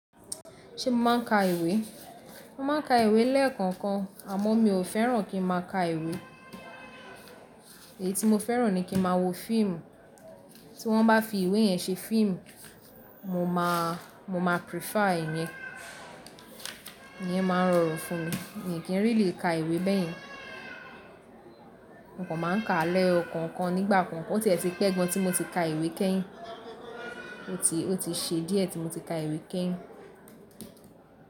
Ṣé mo máa ń ka ìwé? Mo máa ń ka ìwé lẹ́ẹ̀kọ̀kan, àmọ́ mi ò fẹ́ràn kí n máa ka ìwé. Èyí tí mo fẹ́ràn ni kí n máa wo fíìmù. Tí wọ́n bá fi ìwé yẹn ṣe fíìmù, mo ma prefer ẹ̀yin. Ìyẹn máa ń rọrùn fún mi, mi ò kí n rí lè ka ìwé bẹ́ẹ̀ yín. Mo kàn máa ń kaá lẹ̀yọ kọ̀ọ̀kan nígbà kan, ó tiẹ̀ ti pẹ́ gan tí mo ti ka ìwé kẹ́yìn, ó ti se díẹ̀ tí mo ti ka ìwé kẹ́yìn.